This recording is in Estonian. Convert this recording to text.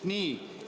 Nii.